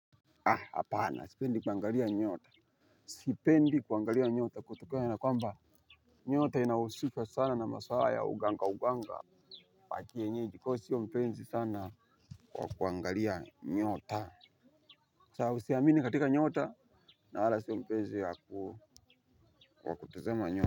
Hapana sipendi kuangalia nyota. Sipendi kuangalia nyota kutukona na kwamba nyota inahusiks sana na maswala ya uganga uganga ya kienyeji kwa hivyo sio mpenzi sana wa kuangalia nyota. Sawa usiamini katika nyota. Na wala sio mpenzi waku kutuzema nyota.